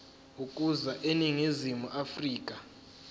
ukuza eningizimu afrika